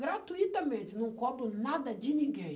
Gratuitamente, não cobro nada de ninguém.